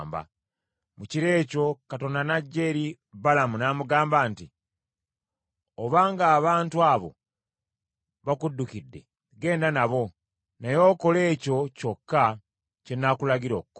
Mu kiro ekyo Katonda n’ajja eri Balamu n’amugamba nti, “Obanga abantu abo bakuddukidde, genda nabo, naye okole ekyo kyokka kye nnaakulagira okukola.”